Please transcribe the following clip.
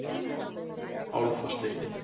Álfasteini